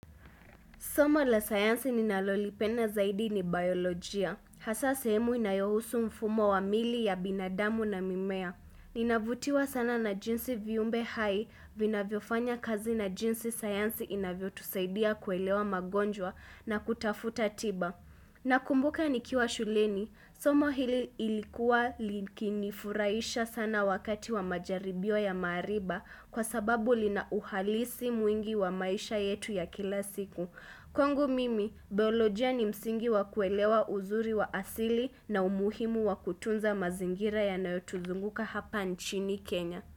Soma la sayansi ninalolipena zaidi ni biolojia. Hasa sehemu inayohusu mfumo wa mili ya binadamu na mimea. Ninavutiwa sana na jinsi viumbe hai vina viofanya kazi na jinsi sayansi inavyo tusaidia kuelewa magonjwa na kutafuta tiba. Na kumbuka nikiwa shuleni, somo hili ilikuwa likini furaisha sana wakati wa majaribio ya mariba kwa sababu lina uhalisi mwingi wa maisha yetu ya kila siku. Kwangu mimi, biolojia ni msingi wakuelewa uzuri wa asili na umuhimu wakutunza mazingira ya nayotuzunguka hapa nchini Kenya.